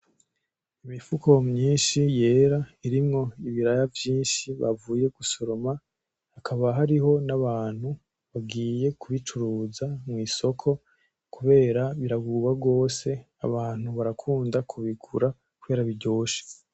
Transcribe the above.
Imifuko myinshi yera irimwo ibiraya vyinshi bavuye gusoroma ,hakaba hariho nabantu bagiye kuyicuruza mw'isoko kubera birabuba gose kubera abantu barakunda kubigura kubera biryoshe.